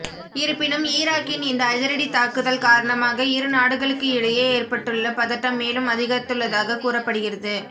இருப்பினும் ஈராக்கின் இந்த அதிரடி தாக்குதல் காரணமாக இரு நாடுகளுக்கு இடையே ஏற்பட்டுள்ள பதட்டம் மேலும் அதிகரித்துள்ளதாக கூறப்படுகிறது